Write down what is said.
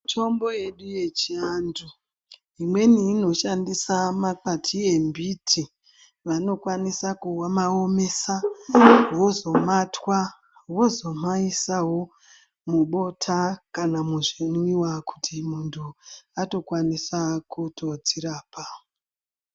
Mitombo yedu yechiantu imweni inoshandisa makwati embiti vanokwanisa kuaomesa ,vozomatwa ,vozomaisawo mubota kana muzvinwiwa kuti munhu atokwanisa kutodzirapa.